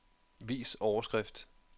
Vis overskrift.